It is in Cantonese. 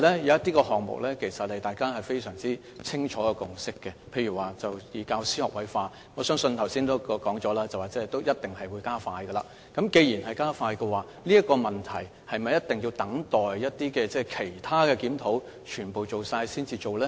一些項目其實大家已有清楚共識，例如教師學位化，我相信正如剛才已經說，是一定會加快的，既然會加快，是否一定要等待其他檢討全部完成後才進行呢？